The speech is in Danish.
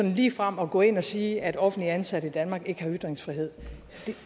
ligefrem at gå ind og sige at offentligt ansatte i danmark ikke har ytringsfrihed